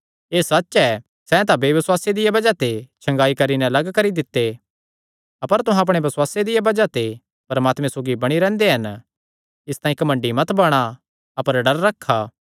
एह़ सच्च ऐ सैह़ तां बेबसुआसे दिया बज़ाह ते छगांई करी नैं लग्ग करी दित्ते अपर तुहां अपणे बसुआसे दिया बज़ाह ते परमात्मे सौगी बणी रैंह्दे हन इसतांई घमंडी मत बणा अपर डर रखा